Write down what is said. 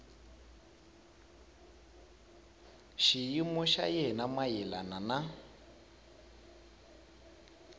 xiyimo xa yena mayelana na